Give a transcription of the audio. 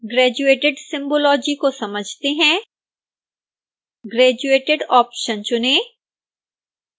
graduated symbology को समझते हैं graduated ऑप्शन चुनें